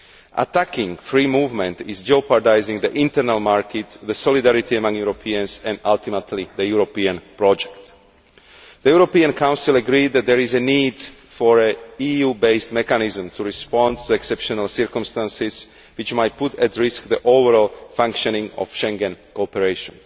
Attacking free movement jeopardises the internal market, solidarity among Europeans and ultimately the European project. The European Council agreed that there is a need for an EU based mechanism to respond to exceptional circumstances which might put at risk the overall functioning of Schengen cooperation.